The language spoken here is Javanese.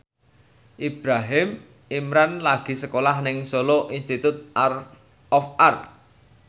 Ibrahim Imran lagi sekolah nang Solo Institute of Art